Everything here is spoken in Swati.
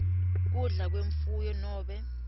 kudla kwemfuyo nobe